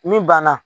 Min banna